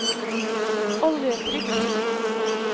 oljetrykk